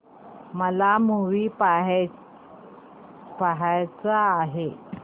मला मूवी पहायचा आहे